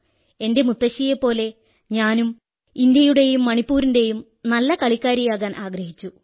എന്റെ മുത്തശ്ശിയെപ്പോലെ ഞാനും ഇന്ത്യയുടെയും മണിപ്പൂരിന്റെയും നല്ല കളിക്കാരിയാകാനാഗ്രഹിച്ചു